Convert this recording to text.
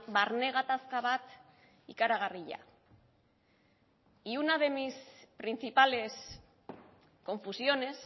barne gatazka bat ikaragarria y una de mis principales confusiones